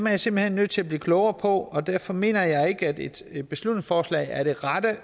jeg simpelt hen nødt til at blive klogere på og derfor mener jeg ikke at et beslutningsforslag er det rette